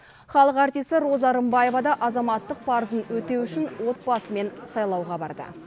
халық артисі роза рымбаева да азаматтық парызын өтеу үшін отбасымен сайлауға барды